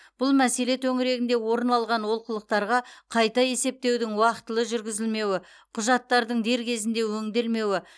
бұл мәселе төңірегінде орын алған олқылықтарға қайта есептеудің уақытылы жүргізілмеуі құжаттардың дер кезінде өңделмеуі